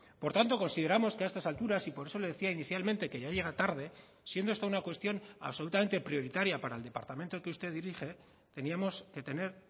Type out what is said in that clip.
por tanto consideramos que a estas alturas y por eso le decía inicialmente que ya llega tarde siendo esta una cuestión absolutamente prioritaria para el departamento que usted dirige teníamos que tener